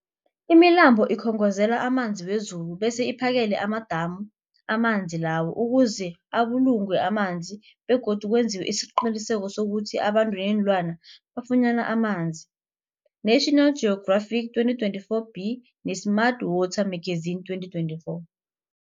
Imilambo ikhongozela amanzi wezulu bese iphakele amadamu amanzi lawo ukuze abulungwe amanzi begodu kwenziwe isiqiniseko sokuthi abantu neenlwana bafunyana amanzi, National Geographic 2024b, ne-Smart Water Magazine 2024.